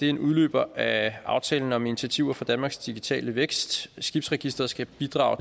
er en udløber af aftale om initiativer for danmarks digitale vækst skibsregistret skal bidrage